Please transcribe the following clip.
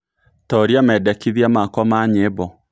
Tuuria medekĩthĩa makwa ma nyĩmbo